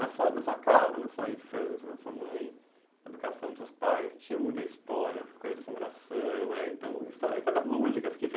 Na sua na sua casa, na sua infância, na sua mãe, a educação dos seus pais, tinha muita história, coisa de assombração, eh então história histórias lúdicas que fez